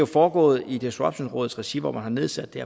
foregået i disruptionrådets regi hvor man har nedsat det